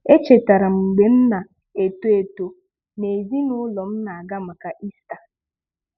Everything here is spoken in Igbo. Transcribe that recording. Echetara m mgbe m na-eto eto, na ezinụụlọ m na-aga maka Ista.